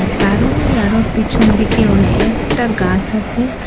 তারো ওই আরো পিছনদিকে অনেকটা গাস আসে।